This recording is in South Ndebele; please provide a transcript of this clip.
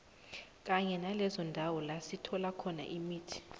kanye nalezo ndawo lasithola khona imithi